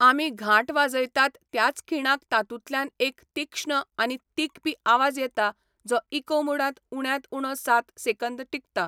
आमी घांट वाजयतात त्याच खिणाक तातूंतल्यान एक तीक्ष्ण आनी तिखपी आवाज येता जो इको मोडांत उण्यांत उणो सात सेकंद टिकता.